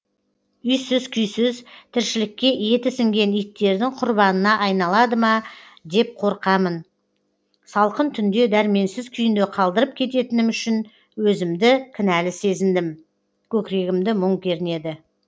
үйсіз күйсіз тіршілікке еті сіңген иттердің құрбанына айналады ма деп қорқамын салқын түнде дәрменсіз күйінде қалдырып кететінім үшін өзімді кінәлі сезіндім көкірегімді мұң кернеді